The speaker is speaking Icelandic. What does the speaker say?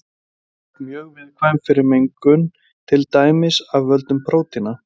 Þau eru oft mjög viðkvæm fyrir mengun til dæmis af völdum prótína.